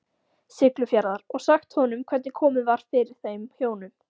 Siglufjarðar, og sagt honum hvernig komið var fyrir þeim hjónum.